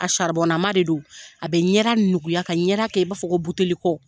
A de don . A bɛ ɲɛda nuguya ka ɲɛda kɛ i b'a fɔ ko buteli kɔ.